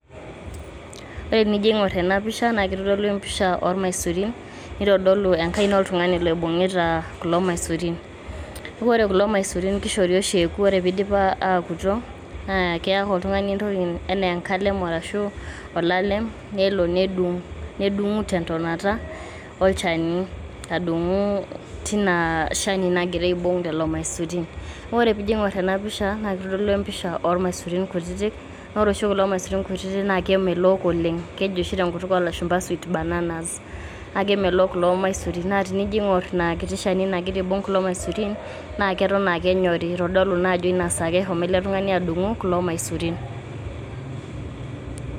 wore enijo aing'orr ena pisha nakitodolu olmaisurin nitodolu enkaina oltung'ani loibung'ita kulo maisurin neaku kulo maisurin kishori oshi ewoku nwore pidiip awokutu naa keya ake oltungani entoki naijio enkalem arashu olalem nelo nedungu tentonata olchani adungu tina shani nagira adung'u maisurin woore pigira aingorr tena pisha nakitodolu empisha olmaisurin kutitik wore oshi kulo miasurin kutitik na kemelok oleng keji oshi tenkutuk olashumpa sweet bananas na kemelok kulo maisurin na tino aingorr inaa shani nagira aibung kulo maisurin naa keton aa kenyori kitodolu ajoo tinasaa ake eshomo adung'u kulo maisurin